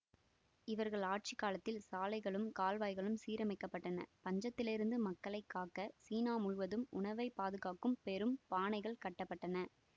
இவர்கள் ஆட்சி காலத்தில் சாலைகளும் கால்வாய்களும் சீரமைக்கப்பட்டன பஞ்சத்திலிருந்து மக்களை காக்க சீனா முழுவதும் உணவை பாதுகாக்கும் பெரும் பானைகள் கட்ட பட்டன